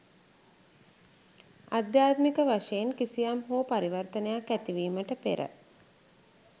අධ්‍යාත්මික වශයෙන් කිසියම් හෝ පරිවර්තනයක් ඇතිවීමට පෙර